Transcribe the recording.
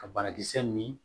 Ka banakisɛ min